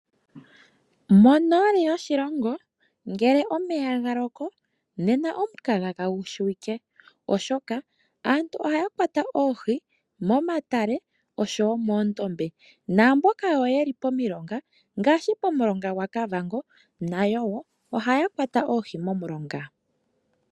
Monoli yoshilongo ngele omeya ga loko nena omukaga kagushiwike oshoka aantu ohaya kwata oohi momatale nomondombe namboka yeli pomilonga ngaashi pomulonga gwaKavango nayo ohaya kwata oohi momulonga.